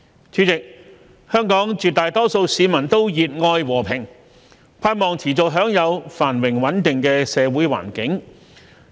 主席，香港絕大多數市民都熱愛和平，盼望持續享有繁榮穩定的社會環境。